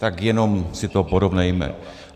Tak jenom si to porovnejme.